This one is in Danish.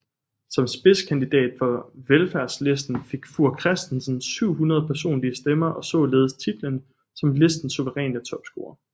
Som spidskandidat for Velfærdslisten fik Fuhr Christensen 700 personlige stemmer og således titlen som listens suveræne topscorer